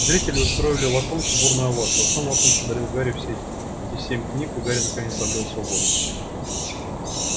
зрители устроили локонсу бурную овацию а сам локонс подарил гарри все свои семь книг и гарри наконец обрёл свободу